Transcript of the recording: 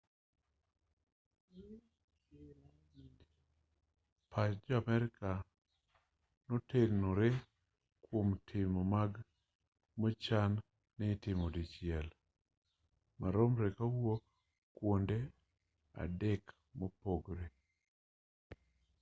pach jo amerka notenore kwom timo monj mochan ni itimo dichiel maromre kowuok kwonde adek mopogore